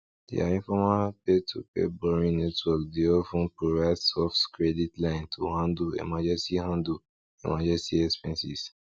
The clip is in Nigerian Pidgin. their informal peertopeer borrowing network dey of ten provide soft credit line to handle emergency handle emergency expenses